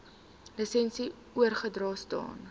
lisensie oorgedra staan